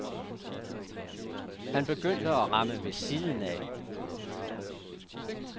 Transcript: Han begyndte at ramme ved siden af.